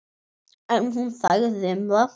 En hún þagði um það.